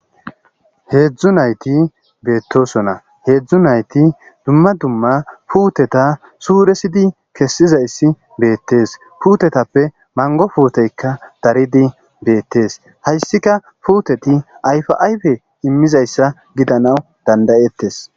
heedzdzu nayti beettosona heedzdzu nayti dumma dumma puuteta suuresidi kessizayssi beettees fuutetappe mango fuuteykka daridi beettees hayssika fuuteti ayfi ayfe immizayssa gidanaw dandayettes